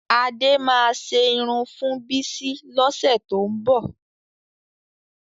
Adé máa ṣe irun fún Bísí lọ́sẹ̀ tó ń bọ̀